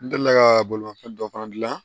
N delila ka bolimafɛn dɔ fana dilan